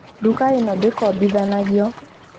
Nduka ĩno ndĩkombithanagio